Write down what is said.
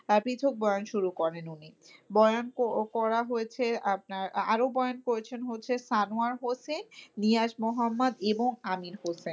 বয়ান শুরু করেন উনি। বয়ান ক~ করা হয়েছে আপনার আরো বয়ান করেছেন হচ্ছে সানোয়ার হোসেন, নিয়াজ মোহাম্মদ এবং আমির হোসেন।